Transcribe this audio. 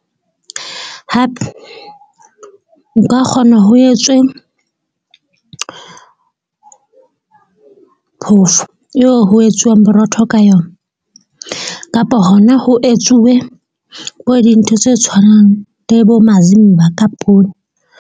Hape o ka kgona ho etswe phofo eo ho etsuwang borotho ka yona kapa, hona ho etsuwe bo dintho tse tshwanang le bo mazimba ka poone.